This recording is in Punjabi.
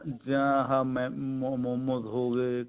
ਜਾਂ ਇਹ momos ਹੋਗੇ